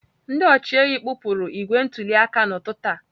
Ndị ọchịehi kpụpụrụ igbe ntụli aka n'ụtụtụ taa.